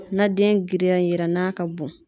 Na den girinya yera n'a ka bon